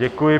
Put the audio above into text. Děkuji.